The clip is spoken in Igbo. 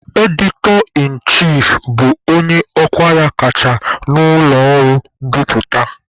"Editor-in-chief" bụ onye ọkwa ya kacha na ụlọ ọrụ mbiputa.